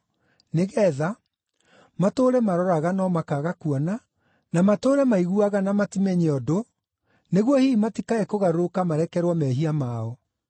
nĩgeetha, “ ‘matũũre maroraga no makaaga kuona, na matũũre maiguaga na matimenye ũndũ; nĩguo hihi matikae kũgarũrũka marekerwo mehia mao!’ ”